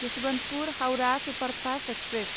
Yesvantpur Howrah superfast express